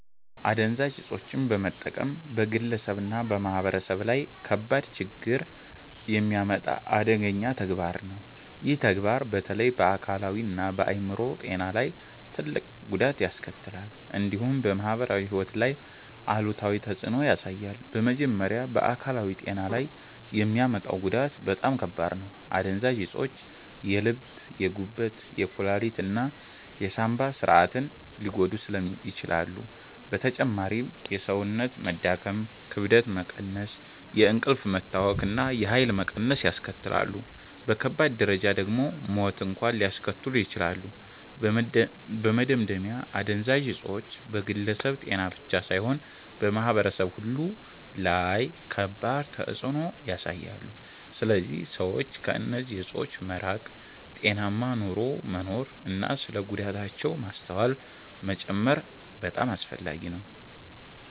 አደንዛዥ እፆችን መጠቀም በግለሰብ እና በማህበረሰብ ላይ ከባድ ችግኝ የሚያመጣ አደገኛ ተግባር ነው። ይህ ተግባር በተለይ በአካላዊ እና በአይምሮ ጤና ላይ ትልቅ ጉዳት ያስከትላል፣ እንዲሁም በማህበራዊ ሕይወት ላይ አሉታዊ ተፅዕኖ ያሳያል። በመጀመሪያ በአካላዊ ጤና ላይ የሚያመጣው ጉዳት በጣም ከባድ ነው። አደንዛዥ እፆች የልብ፣ የጉበት፣ የኩላሊት እና የሳንባ ስርዓትን ሊጎዱ ይችላሉ። በተጨማሪም የሰውነት መዳከም፣ ክብደት መቀነስ፣ የእንቅልፍ መታወክ እና የኃይል መቀነስ ያስከትላሉ። በከባድ ደረጃ ደግሞ ሞት እንኳን ሊያስከትሉ ይችላሉ። በመደምደሚያ አደንዛዥ እፆች በግለሰብ ጤና ብቻ ሳይሆን በማህበረሰብ ሁሉ ላይ ከባድ ተፅዕኖ ያሳያሉ። ስለዚህ ሰዎች ከእነዚህ እፆች መራቅ፣ ጤናማ ኑሮ መኖር እና ስለ ጉዳታቸው ማስተዋል መጨመር በጣም አስፈላጊ ነው።